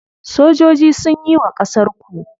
Sojoji sunyi wa ƙasar ku.